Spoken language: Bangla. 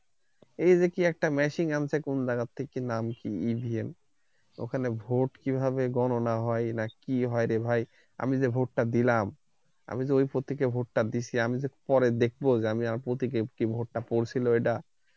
এই ঐ কি একটা machine আনছে কোন যায়গা তে কি নাম কি EVEN ঐ খানে vote কিভাবে গননা হয় না কি কি হয় রে হয় আমি যে vote টা দিলাম আমি যে ঐ প্রতিক কে vote টা দিচ্ছি আমি যে পরে দেখমু আমি যে কি vote টা পৌঁছালো সেটা